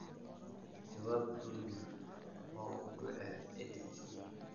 Jawaab: Dulmar mawduuceed EdTech Hub.